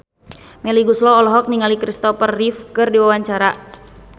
Melly Goeslaw olohok ningali Christopher Reeve keur diwawancara